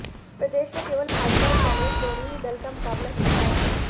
प्रदेश में केवल भाजपा और कांग्रेस दोनों ही दल का मुकाबला सीधा रहा